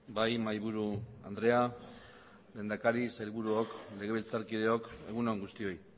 bai mahaiburu andrea lehendakari sailburuok legebiltzarkideok egun on guztioi